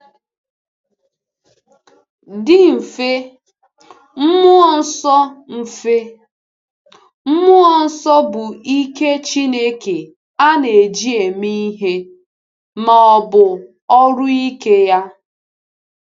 Dị mfe, Mmụọ Nsọ mfe, Mmụọ Nsọ bụ ike Chineke a na-eji eme ihe, ma ọ bụ ọrụ ike ya.